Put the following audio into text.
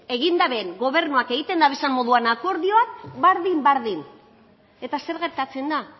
egin daben gobernuak egiten dabezan moduan akordioak berdin berdin eta zer gertatzen da